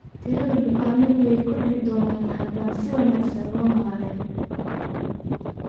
Tirada bukaannadu way kordhi doontaa haddaan si wanaagsan loo maaren.